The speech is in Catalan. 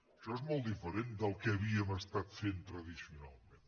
això és molt diferent del que havíem estat fent tradicionalment